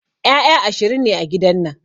Ƴaƴa ashirin ne a gidan nan